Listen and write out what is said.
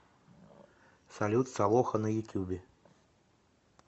салют солоха на ютюбе